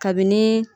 Kabini